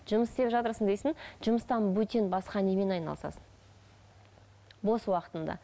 жұмыс істеп жатырсың дейсің жұмыстан бөтен басқа немен айналысасың бос уақытыңда